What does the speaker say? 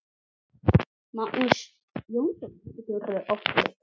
Magnús Jónsson getur átt við